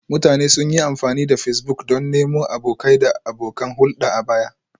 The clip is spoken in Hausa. Mutane sun yi amfani da Facebook don nemo abokai da abokan hulɗa a baya